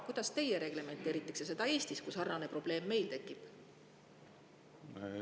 Kuidas teie reglementeeriksite seda Eestis, kui meil sarnane probleem tekiks?